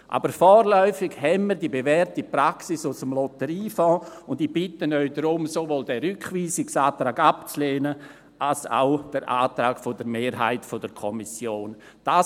Aber vorläufig haben wir die bewährte Praxis aus dem Lotteriefonds, und ich bitte Sie darum, sowohl den Rückweisungsantrag als auch den Antrag der Mehrheit der Kommission abzulehnen.